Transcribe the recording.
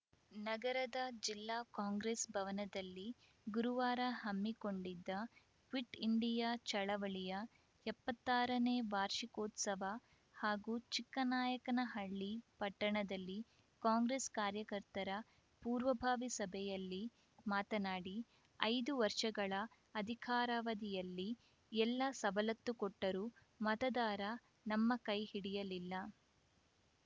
ನಗರದ ಜಿಲ್ಲಾ ಕಾಂಗ್ರೆಸ್‌ ಭವನದಲ್ಲಿ ಗುರುವಾರ ಹಮ್ಮಿಕೊಂಡಿದ್ದ ಕ್ವಿಟ್‌ ಇಂಡಿಯಾ ಚಳವಳಿಯ ಎಪ್ಪತ್ತಾರನೇ ವಾರ್ಷಿಕೋತ್ಸವ ಹಾಗೂ ಚಿಕ್ಕನಾಯಕನಹಳ್ಳಿ ಪಟ್ಟಣದಲ್ಲಿ ಕಾಂಗ್ರೆಸ್‌ ಕಾರ್ಯಕರ್ತರ ಪೂರ್ವಭಾವಿ ಸಭೆಯಲ್ಲಿ ಮಾತನಾಡಿ ಐದು ವರ್ಷಗಳ ಅಧಿಕಾರಾವಧಿಯಲ್ಲಿ ಎಲ್ಲ ಸವಲತ್ತು ಕೊಟ್ಟರೂ ಮತದಾರ ನಮ್ಮ ಕೈಹಿಡಿಯಲಿಲ್ಲ